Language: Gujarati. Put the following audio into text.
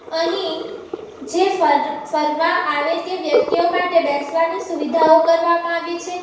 અહીં જે ફર ફરવા આવે તે વ્યક્તિઓ માટે બેસવાની સુવિધાઓ કરવામાં આવી છે.